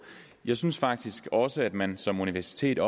jeg synes faktisk også at man som universitet